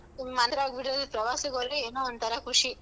ಇನ್ನ್ ಪ್ರವಾಸಕ್ ಹೋದ್ರೆ ಏನೋ ಒಂತರ ಖುಷಿ.